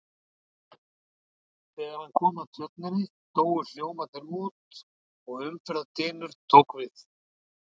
Þegar hann kom að tjörninni, dóu hljómarnir út og umferðardynur tók við.